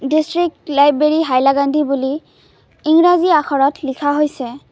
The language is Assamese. ডিষ্ট্ৰিক লাইব্ৰেৰী হাইলাকান্দি বুলি ইংৰাজী আখৰত লিখা হৈছে।